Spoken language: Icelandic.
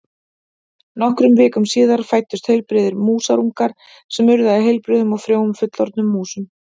Nokkrum vikum síðar fæddust heilbrigðir músarungar sem urðu að heilbrigðum og frjóum fullorðnum músum.